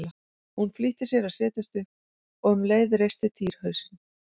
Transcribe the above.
Hún flýtti sér að setjast upp og um leið reisti Týri hausinn.